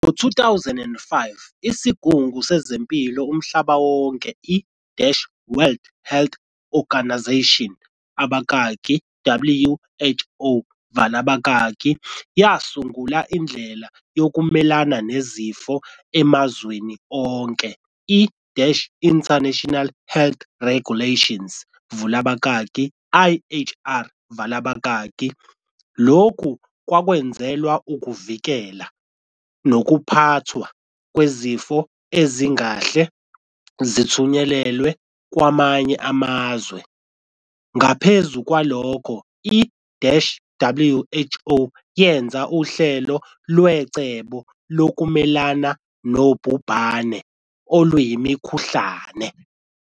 Ngo 2005 isigungu sezempilo umhlaba wonke i-World Health Organisation, abakaki, WHO, vala abakaki, yasungula indlela yokumelana nezifo emazweni onke i-International Health Regulations, vula abakaki, IHR, vala abakaki, lokhu kwakwenzelwa ukuvikela, nokuphathwa kwezifo ezingahle zithutheleke kwamanye amazwe. ngaphezu kwalokho i-WHO yenze uhlelo lwecebo lokumelana nobhubhane oluyimikhuhlane.